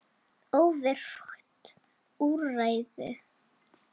Óvirkt úrræði?